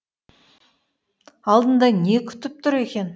алдында не күтіп тұр екен